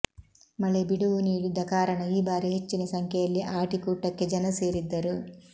ಮಳೆ ಬಿಡುವು ನೀಡಿದ್ದ ಕಾರಣ ಈ ಬಾರಿ ಹೆಚ್ಚಿನ ಸಂಖ್ಯೆಯಲ್ಲಿ ಆಟಿ ಕೂಟಕ್ಕೆ ಜನಸೇರಿದ್ದರು